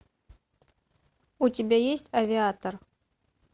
у тебя есть авиатор